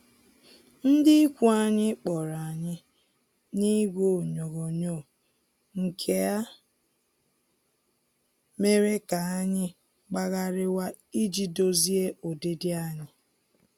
Ndị ikwu anyị kpọrọ anyị n'igwe onyoghonyoo, nke a mere ka anyị gbagharịwa iji dozie ụdịdị anyị